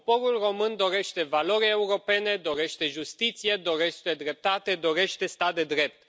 Poporul român dorește valori europene, dorește justiție, dorește dreptate, dorește stat de drept.